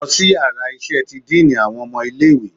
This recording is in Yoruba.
Losí iyàrá iṣẹ tí diiní awọn ọmọ ilẹ̀ ìwé!